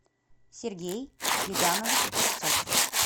сергей гигамович кравцов